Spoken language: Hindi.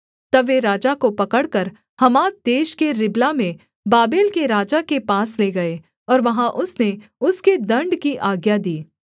तब वे राजा को पकड़कर हमात देश के रिबला में बाबेल के राजा के पास ले गए और वहाँ उसने उसके दण्ड की आज्ञा दी